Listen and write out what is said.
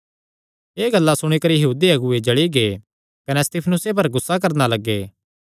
एह़ गल्लां सुणी करी यहूदी अगुऐ जल़ी गै कने स्तिफनुसे पर गुस्सा करणा लग्गे